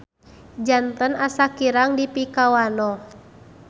Janten asa kirang dipikawanoh.